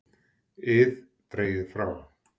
ið dregið frá.